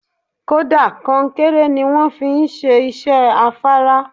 Kódà, konkéré ni wón fi ń ṣe iṣẹ́ afárá.